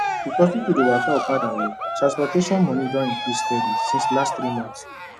because people dey waka okada well transport money don increase steady since last three months